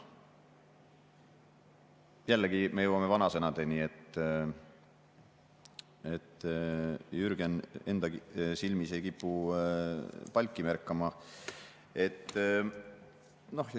Jällegi me jõuame vanasõnadeni: Jürgen enda silmis ei kipu palki märkama.